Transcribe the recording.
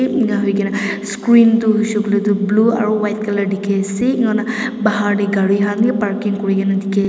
engahoigena screen Tu hoishe kuile tu blue aro white colour dikhiase ena huina gari khan wi parking kurina dikhi --